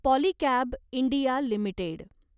Polycab India limited